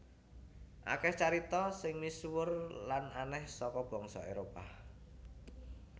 Akeh carita sing misuwur lan aneh saka bangsa Éropah